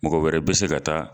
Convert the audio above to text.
Mɔgɔ wɛrɛ bɛ se ka taa